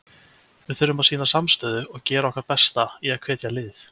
Við þurfum að sýna samstöðu og gera okkar besta í að hvetja liðið.